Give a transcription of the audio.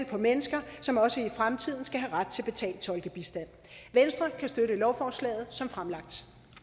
på mennesker som også i fremtiden skal have ret til betalt tolkebistand venstre kan støtte lovforslaget som fremlagt